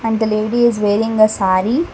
the lady is wearing a saree.